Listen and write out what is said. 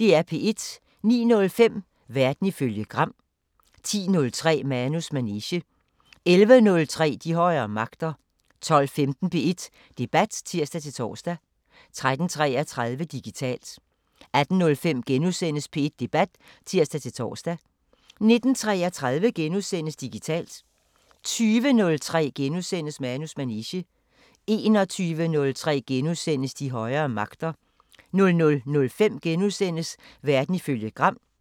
09:05: Verden ifølge Gram 10:03: Manus manege 11:03: De højere magter 12:15: P1 Debat (tir-tor) 13:33: Digitalt 18:05: P1 Debat *(tir-tor) 19:33: Digitalt * 20:03: Manus manege * 21:03: De højere magter * 00:05: Verden ifølge Gram *